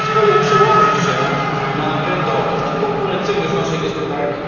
To z kolei przełoży się na rentowność, na konkurencyjność naszej gospodarki.